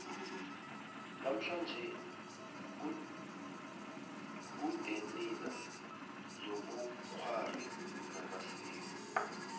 namhlanje kudenina zobukghwari namasiko